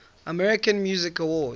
american music awards